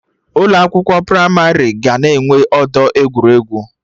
Ụlọ akwụkwọ pramarị ga na-enwe ọdọ egwuregwu